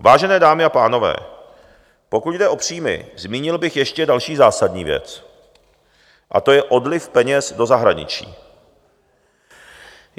Vážené dámy a pánové, pokud jde o příjmy, zmínil bych ještě další zásadní věc a to je odliv peněz do zahraničí.